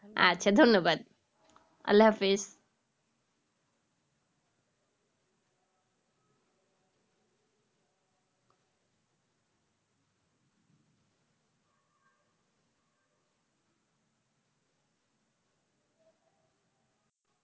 আচ্ছা ধন্যবাদ আল্লাহ হাফেজ।